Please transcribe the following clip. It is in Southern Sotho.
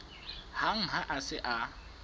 hang ha a se a